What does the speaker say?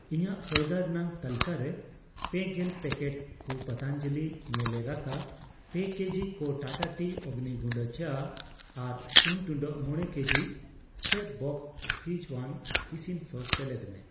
ᱤᱧᱟᱜ ᱥᱚᱭᱫᱟ ᱨᱮᱱᱟᱜ ᱛᱟᱹᱞᱠᱟᱹᱨᱮ ᱯᱮᱜᱮᱞ ᱯᱮᱠᱮᱴ ᱠᱩ ᱯᱟᱛᱟᱱᱡᱟᱞᱤ ᱧᱮᱞᱮ ᱨᱟᱥᱟ, ᱯᱮ ᱠᱮᱡᱤ ᱠᱚ ᱴᱟᱴᱟ ᱴᱤ ᱚᱜᱱᱤ ᱜᱩᱰᱟᱹ ᱪᱟ ᱟᱨ ᱥᱩᱱ ᱴᱩᱰᱟᱹᱜ ᱢᱚᱲᱮ ᱠᱮᱡᱤ ᱠᱚ ᱪᱮᱯᱷᱵᱚᱥᱥ ᱥᱠᱤᱡᱣᱟᱱ ᱤᱥᱤᱱ ᱥᱚᱥ ᱥᱮᱞᱮᱫ ᱢᱮ